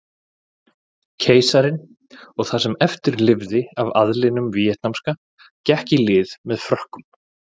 Keisarinn og það sem eftir lifði af aðlinum víetnamska gekk í lið með Frökkum.